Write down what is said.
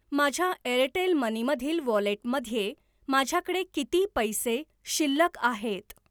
माझ्या Airtel money मधील वॉलेटमध्ये माझ्याकडे किती पैसे शिल्लक आहेत?